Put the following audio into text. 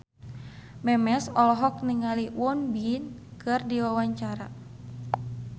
Memes olohok ningali Won Bin keur diwawancara